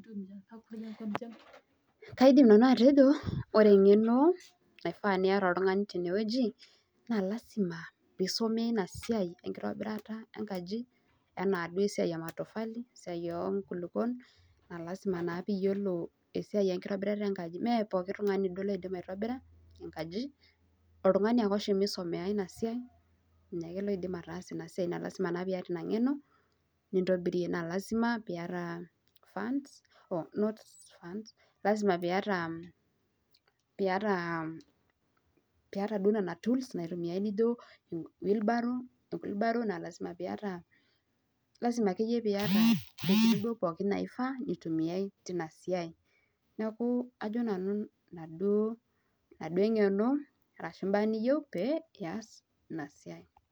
Kaidim nanu atejo ore eng'eno naifaa niata oltung'ani tene wueji naa lazima piisomea ina siai enkitobirata enkaji enaa duo esiai e matofali esiai oo nkulukon naa lazima naa piiyiolo esiai enkitobirata enkaji. Mee pooki tung'ani duo loidim aitobira enkaji, oltung'ani ake oshomo aisomea ina siai nye ake loidim ataasa ina siai, naa lazima naa piiyata ina ng'eno nintobirie naa lazima piiyata funds not funds lazima piiyata piiyata piiyata duo nena tools naitumai nijo wheelbarrow enkulubaro naa lazima piiyata lazima akeyie piiyata ntokitin duo pookin naifaa nitumiai tina siai. Neeku ajo nanu ina duo ina duo eng'eno arashu imbaa niyeu pee iyas ina siai.